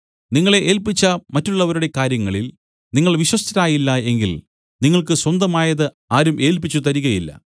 നിങ്ങളെ ഏൽപ്പിച്ച മറ്റുള്ളവരുടെ കാര്യങ്ങളിൽ നിങ്ങൾ വിശ്വസ്തരായില്ല എങ്കിൽ നിങ്ങൾക്ക് സ്വന്തമായത് ആരും ഏൽപ്പിച്ചുതരികയില്ല